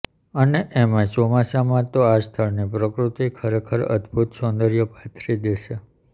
અને એમાંયે ચોમાસામાં તો આ સ્થળની પ્રકૃતિ ખરેખર અદ્ભુત સૌંદર્ય પાથરી દે છે